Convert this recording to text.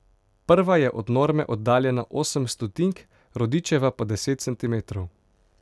Prva je od norme oddaljena osem stotink, Rodičeva pa deset centimetrov.